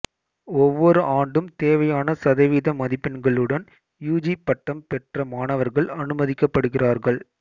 ஒவ்வொரு ஆண்டும் தேவையான சதவீத மதிப்பெண்களுடன் யுஜி பட்டம் பெற்ற மாணவர்கள் அனுமதிக்கப்படுகிறார்கள்